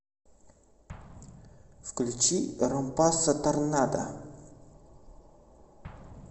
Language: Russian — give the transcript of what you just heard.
включи ромпассо торнадо